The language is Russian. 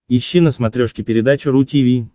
ищи на смотрешке передачу ру ти ви